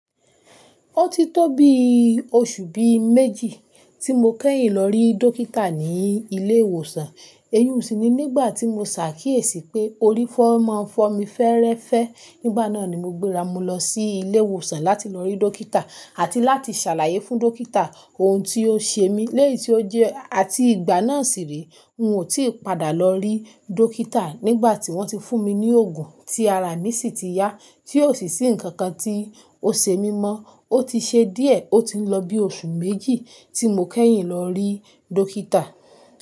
Ó ti tó bi oṣù bí méjì tí mo kẹ́yìn lọ rí dókítà ní ilé ìwòsàn. Eyún sì ni nígbà tí mo ṣàkíyèsí pé orí fọ́ máa fọ́ mi fẹ́ẹ́rẹ́fẹ́. Nígbà náà ni mo gbéra mu lọ sí ilé ìwòsàn láti lọ rí dókítà àti láti ṣàlàyé fún dókítà ohun tí ó ṣe mí léyìí tí ó jẹ́, àti ìgbà náà sì rí. Oun tí padà lọ rí dókítà nígbà tí wọ́n ti fún mi ní òògùn tí ara mi sì ti yá. Tí ò sì sí ǹkankan tí ó ṣe mí mọ́. Ó ti ṣe díẹ̀ ó ti ń lọ bí oṣù méjì tí mo kẹ́yìn lọ rí dókítà.